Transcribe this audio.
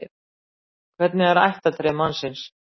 Hvernig er ættartré mannsins?